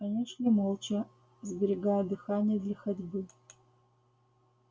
они шли молча сберегая дыхание для ходьбы